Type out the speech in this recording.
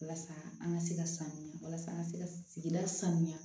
Walasa an ka se ka sanuya walasa an ka se ka sigida sanuya